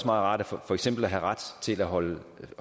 rart for eksempel at have ret til at holde